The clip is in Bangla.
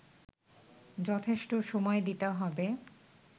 যথেষ্ট সময় দিতে হবে